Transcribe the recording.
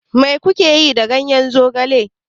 Mai ku ke yi da ganyen zogale?